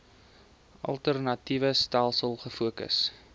alternatiewe stelsels gefokus